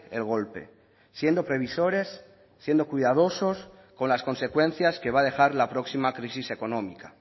el golpe siendo previsores siendo cuidadosos con las consecuencias que va a dejar la próxima crisis económica